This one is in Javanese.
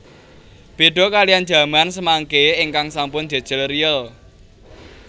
Beda kaliyan jaman samangke ingkang sampun jejel riyel